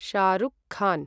Shahrukh Khan